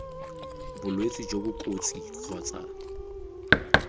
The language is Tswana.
bolwetse jo bo kotsi kgotsa